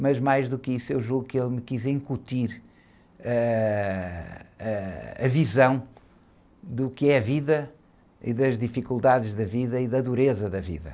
Mas mais do que isso, eu julgo que ele me quis incutir, ãh, ãh, a visão do que é a vida e das dificuldades da vida e da dureza da vida.